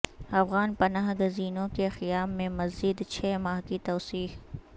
افغان پناہ گزینوں کے قیام میں مزید چھ ماہ کی توسیع